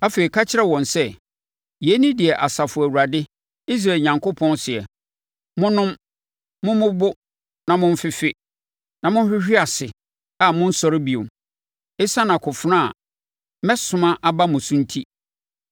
“Afei, ka kyerɛ wɔn sɛ, ‘Yei ne deɛ Asafo Awurade, Israel Onyankopɔn seɛ: Monnom, mommobo na momfefe, na mohwehwe ase a monnsɔre bio, ɛsiane akofena a mɛsoma aba mo so enti.’